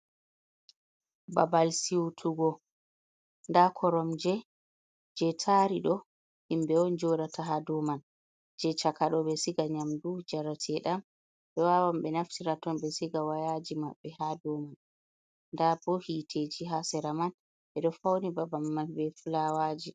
Babal siutugo: Nda koromje je tari ɗo himɓe on joɗata ha dou man. Je cakaɗo ɓe siga nyamdu, njarate'ɗam ɓe wawan be naftira ton be siga wayaji maɓɓe ha dou man. Nda bo hiteji ha sera man ɓeɗo fauni babal ma be flawaji